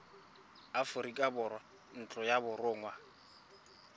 aforika borwa ntlo ya borongwa